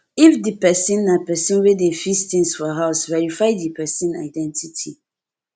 if di person na person wey dey fis things for house verify di person identity